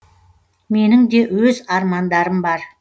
менің де өз армандарым бар